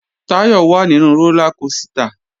Táyọ̀ wà nínu rólá kosìtà